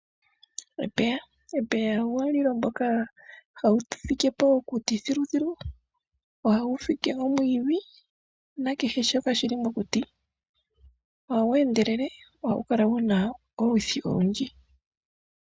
Epeya epeya omulilo ngoka hagu fikepo okuti thiluthilu ohagufike omwiidhi nakehe shoka shili mokuti. Ohagweendelele ohagukala guna olwithi olundji.